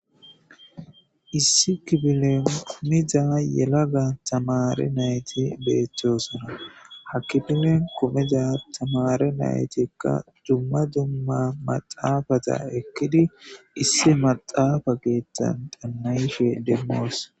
Issi kifilen diza yela tamare nayti betosona ha kifilen kumida tamare naytika dumma dumma maxafeza ekidi issi maxafeza keethan xaana'ishe de'osona